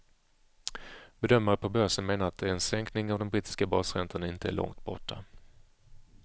Bedömare på börsen menar att en sänkning av den brittiska basräntan inte är långt borta.